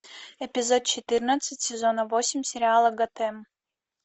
эпизод четырнадцать сезона восемь сериала готэм